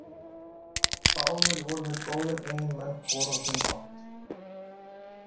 Báðir voru þeir góðir eiginmenn hvor á sinn hátt.